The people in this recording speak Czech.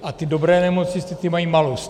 A ty dobré nemocnice, ty mají malus.